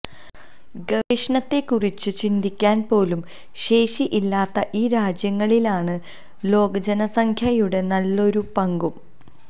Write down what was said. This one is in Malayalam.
ഗവേഷണത്തെക്കുറിച്ച് ചിന്തിക്കാന് പോലും ശേഷിയില്ലാത്ത ഈ രാജ്യങ്ങളിലാണ് ലോകജനസംഖ്യയുടെ നല്ലൊരു പങ്കും